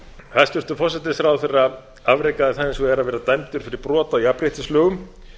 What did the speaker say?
hæstvirtur forsætisráðherra afrekaði það hins vegar að vera dæmdur fyrir brot á jafnréttislögum